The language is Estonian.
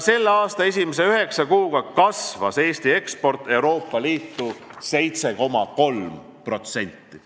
Selle aasta esimese üheksa kuuga kasvas Eesti eksport Euroopa Liitu 7,3%.